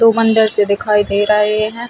दो मंदिर से दिखाई दे रहे है।